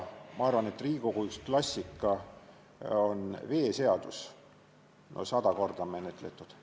Ma arvan, et Riigikogu klassika on veeseadus, mida on no sada korda menetletud.